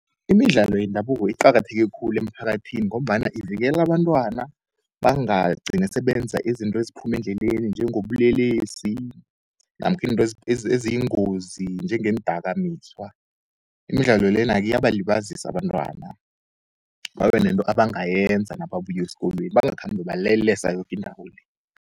Imidlalo yendabuko iqakatheke khulu emphakathini ngombana ivikela abantwana, bangagcini sebenza izinto eziphume endleleni, njengobulelesi namkha intwe eziyingozi njengendakamizwa. Imidlalo lena-ke, iyabalibazisa abantwana, babenento ebangayenza nababuya eskolweni bangakhambi balelesa yokindawo le.